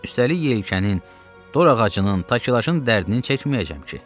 Üstəlik yelkənin, dor ağacının, takelajın dərdini çəkməyəcəm ki.